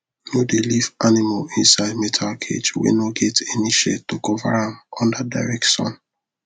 no dey leave animal inside metal cage wey no get any shade to cover am under direct sun